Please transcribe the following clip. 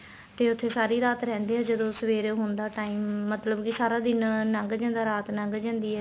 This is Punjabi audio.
ਤੇ ਉੱਥੇ ਸਾਰੀ ਰਾਤ ਰਹਿੰਦੇ ਏ ਜਦੋਂ ਸਵੇਰ ਹੋਣ ਦਾ time ਮਤਲਬ ਕੇ ਸਾਰਾ ਦਿਨ ਲੱਗ ਜਾਂਦਾ ਰਾਤ ਲੱਗ ਜਾਂਦੀ ਏ